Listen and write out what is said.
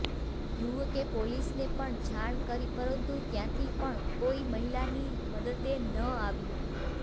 યુવકે પોલીસને પણ જાણ કરી પરંતુ ત્યાંથી પણ કોઈ મહિલાની મદદે ન આવ્યું